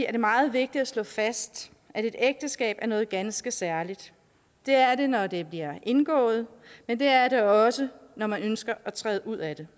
er det meget vigtigt at slå fast at et ægteskab er noget ganske særligt det er det når det bliver indgået men det er det også når man ønsker at træde ud af det